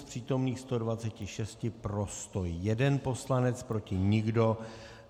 Z přítomných 126 pro 101 poslanec, proti nikdo.